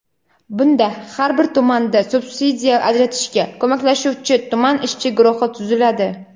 Bunda har bir tumanda subsidiya ajratishga ko‘maklashuvchi tuman ishchi guruhi tuziladi.